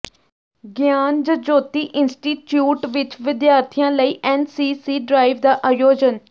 ਗਿਆਨ ਜਯੋਤੀ ਇੰਸਟੀਚਿਊਟ ਵਿੱਚ ਵਿਦਿਆਰਥੀਆਂ ਲਈ ਐਨਸੀਸੀ ਡਰਾਈਵ ਦਾ ਆਯੋਜਨ